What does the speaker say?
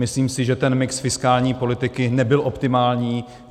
Myslím si, že ten mix fiskální politiky nebyl optimální.